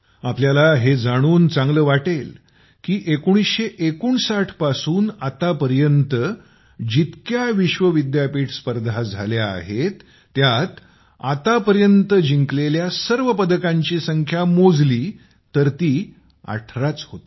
आपल्याला हे जाणून चांगलं वाटेल की १९५९ पासून आतापर्यंत जितके विश्व विद्यापीठ स्पर्धा झाल्या आहेत त्यात आतापर्यंत जिंकलेल्या सर्व पदकांची संख्या मोजली तर ती १८ च होते